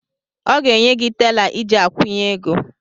Ọ ga-enye gị tela iji akwụnye ego.